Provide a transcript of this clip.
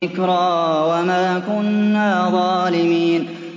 ذِكْرَىٰ وَمَا كُنَّا ظَالِمِينَ